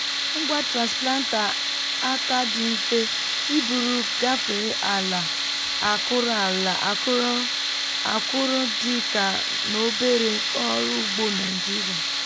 ngwa transplanter aka dị mfe iburu gafee ala akụrụ ala akụrụ akụrụ dị ka n’ obere oru ugbo naijiria.